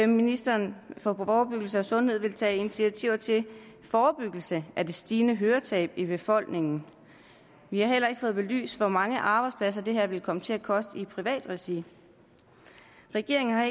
ministeren for forebyggelse og sundhed vil tage initiativer til forebyggelse af det stigende høretab i befolkningen vi har heller ikke fået belyst hvor mange arbejdspladser dette vil komme til at koste i privat regi regeringen